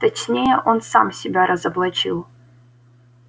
точнее он сам себя разоблачил